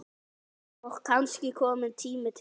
Og kannski kominn tími til.